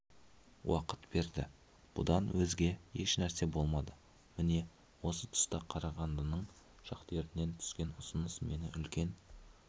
уақыт берді бұдан өзге ешнәрсе болмады міне осы тұста қарағандының шахтерінен түскен ұсыныс мені үлкен